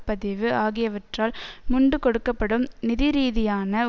பதிவு ஆகியவற்றால் முண்டு கொடுக்க படும் நிதிரீதியான